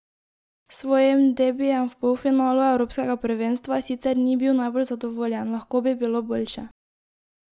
S svojim debijem v polfinalu evropskega prvenstva sicer ni bil najbolj zadovoljen: 'Lahko bi bilo boljše.